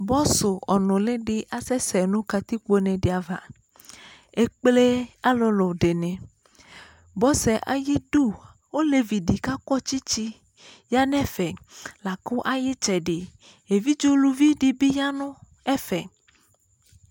bɔsu ɔnulidi asɛsɛɛ nu katikpone di ava ekplee alʋlʋɔ dini bɔsuɛ ayidu olevidi kakɔ tsitsi yanɛfɛ lakʋ ayitsɛdi evidze uluvidibi yanu ɛfɛ